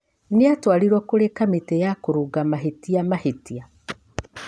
Nĩatwarirwo kurĩ kamĩti ya kũrũnga mahĩtia mahĩtia.